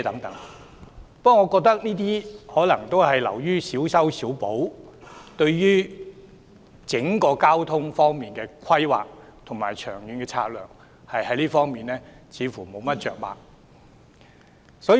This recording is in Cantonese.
但我覺得這些措施只是小修小補，對整體交通規劃和長遠策略似乎着墨不多。